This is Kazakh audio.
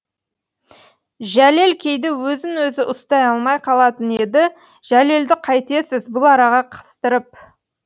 жәлел кейде өзін өзі ұстай алмай қалатын еді жәлелді қайтесіз бұл араға қыстырып